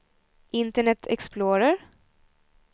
internet explorer